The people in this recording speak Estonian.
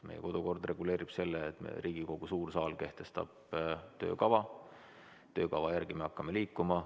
Meie kodukord reguleerib selle, et Riigikogu suur saal kehtestab töökava, töökava järgi me hakkame liikuma.